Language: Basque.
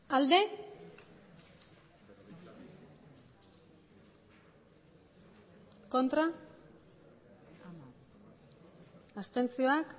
emandako botoak